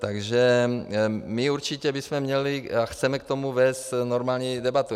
Takže my určitě bychom měli a chceme k tomu vést normální debatu.